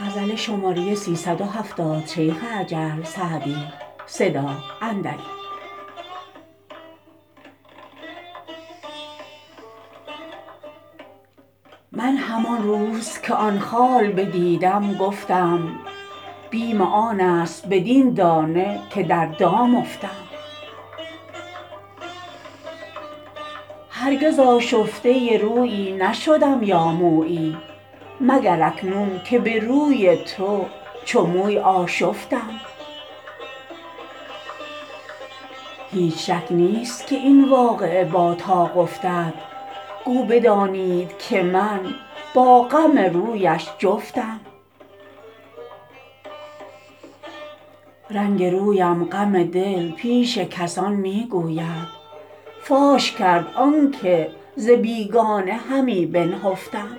من همان روز که آن خال بدیدم گفتم بیم آن است بدین دانه که در دام افتم هرگز آشفته رویی نشدم یا مویی مگر اکنون که به روی تو چو موی آشفتم هیچ شک نیست که این واقعه با طاق افتد گو بدانید که من با غم رویش جفتم رنگ رویم غم دل پیش کسان می گوید فاش کرد آن که ز بیگانه همی بنهفتم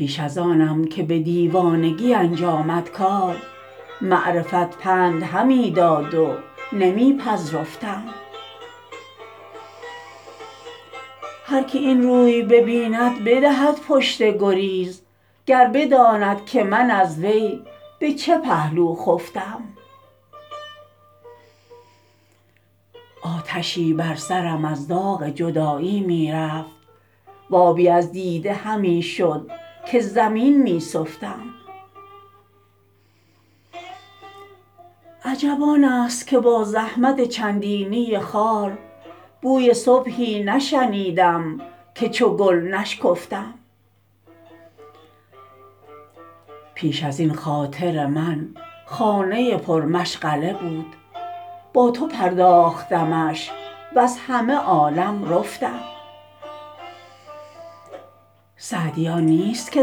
پیش از آنم که به دیوانگی انجامد کار معرفت پند همی داد و نمی پذرفتم هر که این روی ببیند بدهد پشت گریز گر بداند که من از وی به چه پهلو خفتم آتشی بر سرم از داغ جدایی می رفت و آبی از دیده همی شد که زمین می سفتم عجب آن است که با زحمت چندینی خار بوی صبحی نشنیدم که چو گل نشکفتم پیش از این خاطر من خانه پرمشغله بود با تو پرداختمش وز همه عالم رفتم سعدی آن نیست که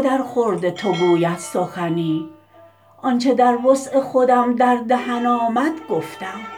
درخورد تو گوید سخنی آن چه در وسع خودم در دهن آمد گفتم